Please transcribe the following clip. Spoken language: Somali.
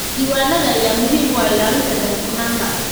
Diiwaanada ayaa muhiim u ah ilaalinta daahfurnaanta.